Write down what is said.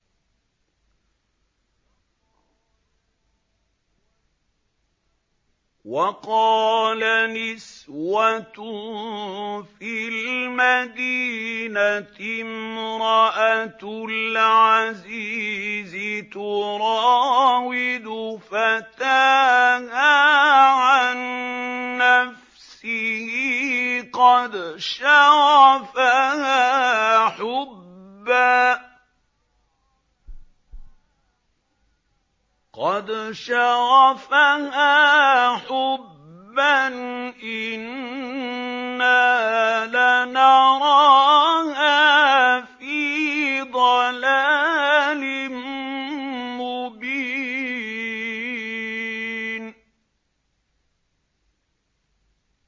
۞ وَقَالَ نِسْوَةٌ فِي الْمَدِينَةِ امْرَأَتُ الْعَزِيزِ تُرَاوِدُ فَتَاهَا عَن نَّفْسِهِ ۖ قَدْ شَغَفَهَا حُبًّا ۖ إِنَّا لَنَرَاهَا فِي ضَلَالٍ مُّبِينٍ